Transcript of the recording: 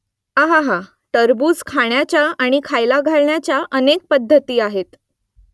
अहाहा . टरबूज खाण्याच्या आणि खायला घालण्याच्या अनेक पद्धती आहेत